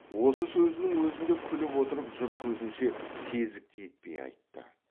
осы сөзінің өзін де күліп отырып жұрт көзінше сезікті етпей айтты